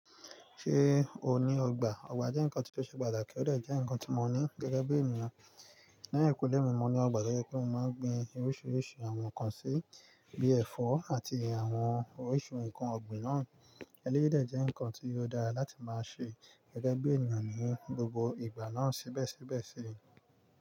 Ṣé o ní ọgbà? Ọgbà jẹ́ nǹkan tí ó ṣe pàtàkì, ó jẹ́ nǹkan tí mo ní gẹ́gẹ́ bí ènìyàn. Lẹ́hìnkulé mi, mo ní ọgbà to jẹ pe mo máa ń gbin oríṣiríṣi àwọn nǹkan sí bíi ẹ̀fọ́ àti àwọn oríṣi nǹkan ọ̀gbìn náà. Eléyìí dẹ̀ jẹ́ nǹkan tí ó dára láti máa ṣe gẹ́gẹ́ bí ènìyàn ní gbogbo ìgbà náà. Sibẹsibẹ sí i.